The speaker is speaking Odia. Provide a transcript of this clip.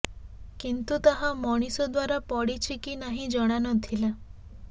କିନ୍ତୁ ତାହା ମଣିଷ ଦ୍ବାରା ପଡ଼ିଛି କି ନାହିଁ ଜଣାନଥିଲା